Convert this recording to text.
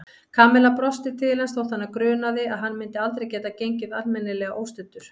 Kamilla brosti til hans þótt hana grunaði að hann myndi aldrei geta gengið almennilega óstuddur.